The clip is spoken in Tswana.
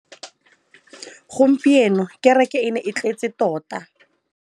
Gompieno kêrêkê e ne e tletse tota.